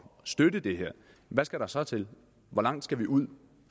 støtte det her hvad skal der så til hvor langt skal vi ud